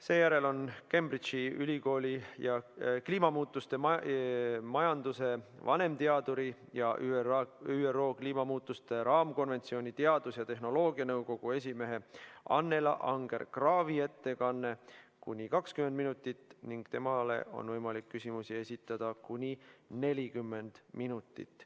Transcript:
Seejärel on Cambridge'i ülikooli kliimamuutuste majanduse vanemteaduri ja ÜRO kliimamuutuste raamkonventsiooni teadus- ja tehnoloogianõukogu esimehe Annela Anger-Kraavi ettekanne, kuni 20 minutit, ning temale on võimalik küsimusi esitada kuni 40 minutit.